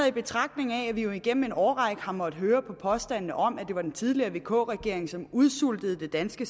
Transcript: i betragtning at vi igennem en årrække har måttet høre på påstanden om at det var den tidligere vk regering som udsultede det danske